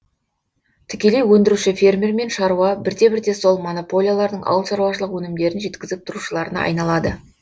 тікелей өндіруші фермер мен шаруа бірте бірте сол монополиялардың ауыл шаруашылық өнімдерін жеткізіп тұрушыларына айналады